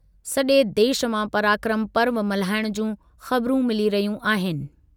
सॼे देशु मां पराक्रम पर्व मल्हाइण जूं ख़बरूं मिली रहियूं आहिनि।